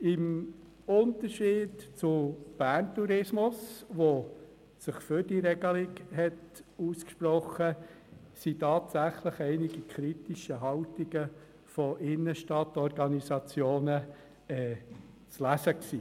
Im Unterschied zu Bern Tourismus, der sich für die Regelung ausgesprochen hat, haben sich tatsächlich einige Innenstadtorganisationen kritisch geäussert.